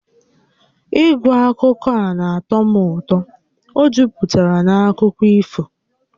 Ịgụ akwụkwọ a na-atọ m ụtọ, ọ juputara na akụkọ ifo